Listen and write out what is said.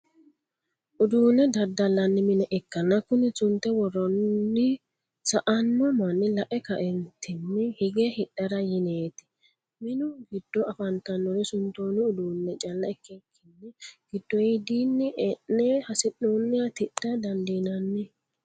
uduunne dadalanni minne ikanna kunni sunte woroonri sa'anno manni la'e ka'eennitinni higge hidhara yiinete minnu giddo afatanori suntoonni uduunne calla ikikinni gidoyidinni e'nne hasi'nooniha tidha dandiinanni.